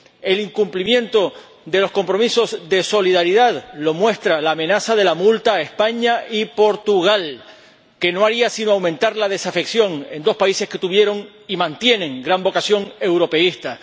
el incumplimiento de los compromisos de solidaridad lo muestra la amenaza de la multa a España y Portugal, que no haría sino aumentar la desafección en dos países que tuvieron y mantienen gran vocación europeísta